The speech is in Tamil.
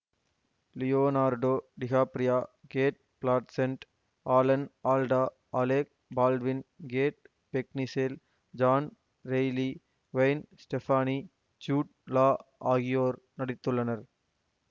Leonardo DiCaprio Cate Blanchett Alan Alda Alec Baldwin Kate Beckinsale John Reilly Gwen Stefani Jude Law ஆகியோர் நடித்துள்ளனர்